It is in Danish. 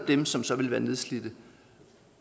dem som så vil være nedslidte